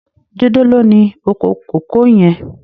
Jide ló ni ókó kókòó yèn